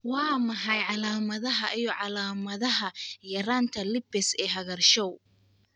Waa maxay calaamadaha iyo calaamadaha yaraanta lipase ee cagaarshow?